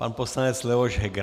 Pan poslanec Leoš Heger.